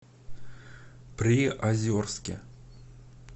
приозерске